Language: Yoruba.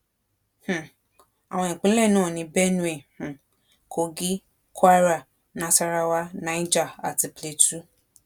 um àwọn ìpínlẹ náà ni benue um kogi kwara nasarawa niger àti plateau